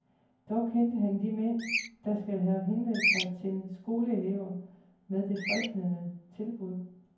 Dog kendte han de mænd, der skal have henvendt sig til skoleelever med det fristende tilbud.